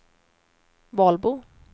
Valbo